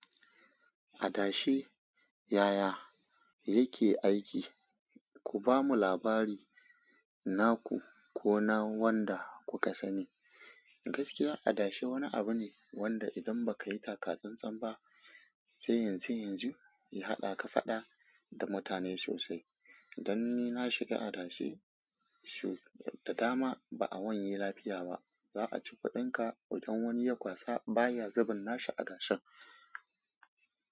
Adashe, yaya yake aiki? Ku bamu labari naku ko na wanda kuka sani. Gaskiya, adashe wani abu ne wanda idan ba ka yi taka tsan-tsan ba, sai yanzu yanzu ya haɗa ka faɗa da mutane sosai. Dan ni na shiga adashe shau da dama ba a wanye lafiya ba. Za a ci kuɗinka idan wani ya kwasa ba ya zuban nashi a adashen.